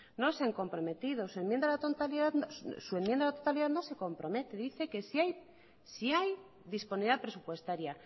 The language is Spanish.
no se han comprometido su enmienda a la totalidad no se compromete dice que si hay disponibilidad presupuestaria